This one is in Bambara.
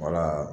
Wala